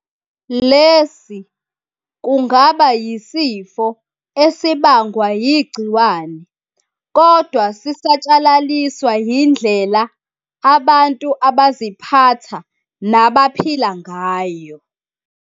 Lesi kungaba yisifo esibangwa yigciwane, kodwa sisatshalaliswa yindlela abantu abaziphatha nabaphila ngayo.